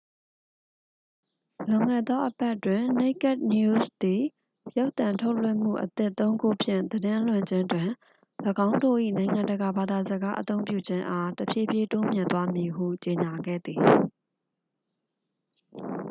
လွန်ခဲ့သော အပတ်တွင် naked news သည် ရုပ်သံထုတ်လွှင့်မှု အသစ် သုံး ခုဖြင့် သတင်းလွှင့်ခြင်းတွင် ၎င်းတို့၏ နိုင်ငံတကာဘာသာစကားအသုံးပြုခြင်းအား တဖြည်းဖြည်း တိုးမြှင့်သွားမည်ဟု ကြေညာခဲ့သည်